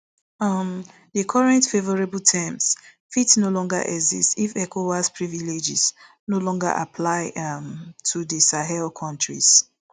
um di current favourable terms fit no longer exist if ecowas privileges no longer apply um to di sahel kontries